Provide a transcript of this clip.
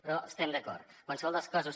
però hi estem d’acord en qualsevol dels casos